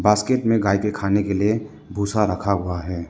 Basket में गाय के खाने के लिए भूसा रखा हुआ है।